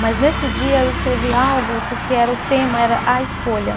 Mas nesse dia eu escrevi algo porque era o tema, era a escolha.